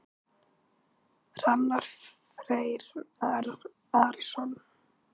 Hrannar Freyr Arason.